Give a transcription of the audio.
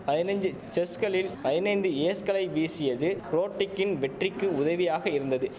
ஐனைந்தி செஸ்களில் ஐனைந்து ஏஸ்களை வீசியது ரோட்டிக்கின் வெற்றிக்கு உதவியாக இருந்தது